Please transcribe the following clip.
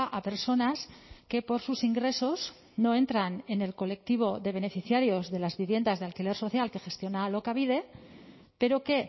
a personas que por sus ingresos no entran en el colectivo de beneficiarios de las viviendas de alquiler social que gestiona alokabide pero que